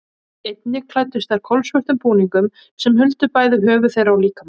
Einnig klæddust þær kolsvörtum búningum sem huldu bæði höfuð þeirra og líkama.